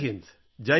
Jai Hind